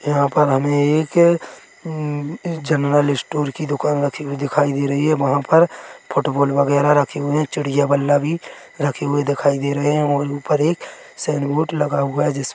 यहाँ पर हमे एक जनरल स्टोर की दुकान रखी हुए दिखाई दे रहे हैं वहाँ पर फुटबॉल वगैरा रखे हुए हैं चिड़िया बन्दा भी रखे हुए दिखाई दे रहे हैं और ऊपर एक सायिन बोर्ड लगा हुआ है जिस--